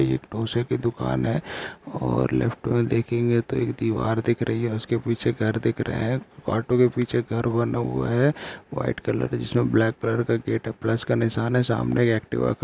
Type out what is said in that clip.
यह एक ढोसे की दुकान है और लेफ्ट में देखेंगे तो एक दीवार दिख रही है उसके पीछे घर दिख रहे है ऑटो के पीछे घर बना हुआ है व्हाइट कलर जिसमे ब्लैक कलर का गेट है प्लस का निशान है सामने एक एक्टिवा खड़ी --